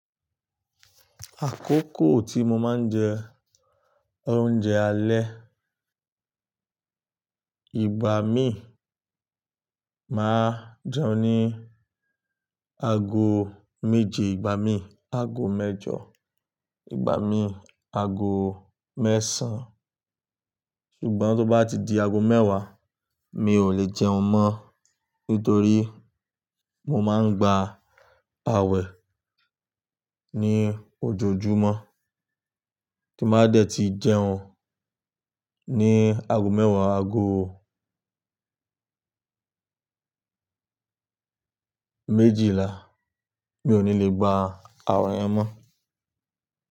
Àkókò tí mo máa ń jẹ oúnjẹ alẹ́, ìgbà mí máa jẹun ní ago méje, ìgbà mí ago mẹ́jọ, ìgbà mí ago mẹ́sàn-án. Ṣùgbọ́n tó bá ti di ago mẹ́wàá mi ò lè jẹun mọ́, nítorí mo máa ń gba àwẹ̀ ní ojoojúmọ́, kí n bá dẹ̀ ti jẹun ní ago mẹ́wàá ago méjìlá, mi ò ní lè gba àwẹ̀ yẹn mọ́